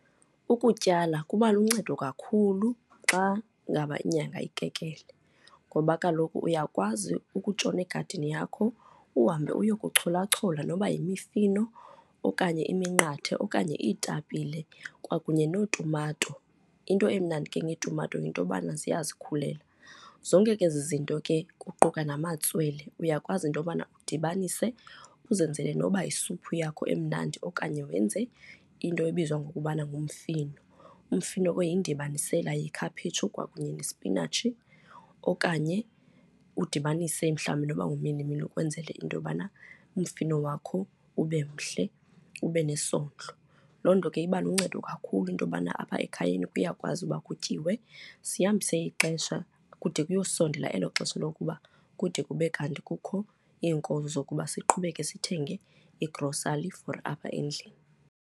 Ukutyala kuba luncedo kakhulu xa ngaba inyanga ikekele ngoba kaloku uyakwazi ukutshona egadini yakho uhambe uye kucholachola noba yimifino okanye iminqathe okanye iitapile kwakunye neetumato. Into emnandi ke ngeetumato yinto yokubana ziyazikhulela. Zonke ke ezi zinto ke, kuquka namatswele, uyakwazi into yokubana udibanise uzenzele noba isuphu yakho emnandi okanye wenze into ebizwa ngokubana ngumfino. Umfino ke yindibanisela yekhaphetshu kwakunye nesipinatshi okanye udibanise mhlawumbi noba ngumilimili ukwenzela into yobana umfino wakho ube mhle, ube nesondlo. Loo nto ke iba luncedo kakhulu into yobana apha ekhayeni kuyakwazi ukuba kutyiwe, sihambise ixesha kude kuyosondela elo xesha lokuba kude kube kanti kukho iinkozo zokuba siqhubeke sithenge igrosali for apha endlini.